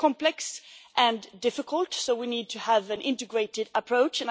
It is complex and difficult, so we need to have an integrated approach.